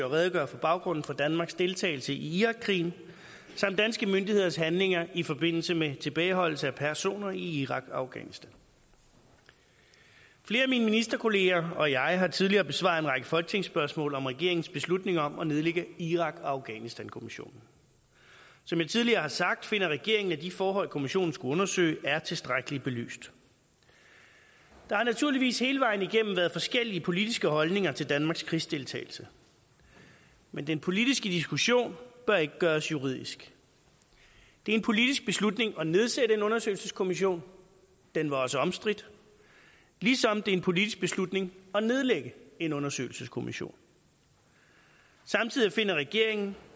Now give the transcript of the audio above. redegøre for baggrunden for danmarks deltagelse i irakkrigen samt danske myndigheders handlinger i forbindelse med tilbageholdelse af personer i irak og afghanistan flere af mine ministerkolleger og jeg har tidligere besvaret en række folketingsspørgsmål om regeringens beslutning om at nedlægge irak og afghanistankommissionen som jeg tidligere har sagt finder regeringen at de forhold kommissionen skulle undersøge er tilstrækkeligt belyst der har naturligvis hele vejen igennem været forskellige politiske holdninger til danmarks krigsdeltagelse men den politiske diskussion bør ikke gøres juridisk det er en politisk beslutning at nedsætte en undersøgelseskommission den var også omstridt ligesom det er en politisk beslutning at nedlægge en undersøgelseskommission samtidig finder regeringen